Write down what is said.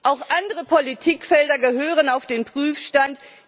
Auch andere Politikfelder gehören auf den Prüfstand.